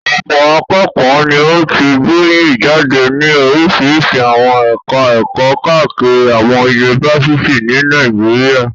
Ọ̀pọ̀ akẹ́kọ̀ọ́ ni ó ti gboyè jáde ní oríṣiríṣi àwọn ẹ̀ka-ẹ̀kọ́ káàkiri àwọn yunifásitì ní Nàìjíríà.